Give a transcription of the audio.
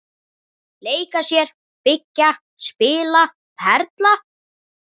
Leika sér- byggja- spila- perla